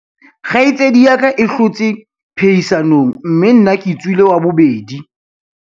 kgaitsedi ya ka e hlotse phehisanong mme nna ke tswile wa bobedi